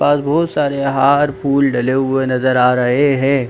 पास बहुत सारे हार-फूल डले हुए नजर आ रहे हैं।